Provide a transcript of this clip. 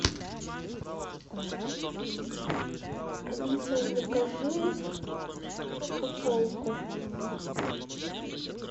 алиса закажи футболку